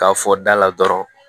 K'a fɔ da la dɔrɔn